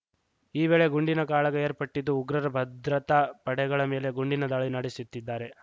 ಈ ವೇಳೆ ಗುಂಡಿನ ಕಾಳಗ ಏರ್ಪಟ್ಟಿದ್ದು ಉಗ್ರರು ಭದ್ರತಾ ಪಡೆಗಳ ಮೇಲೆ ಗುಂಡಿನ ದಾಳಿ ನಡೆಸುತ್ತಿ ದ್ದಾರೆ